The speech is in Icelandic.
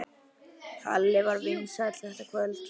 Halli var vinsæll þetta kvöld.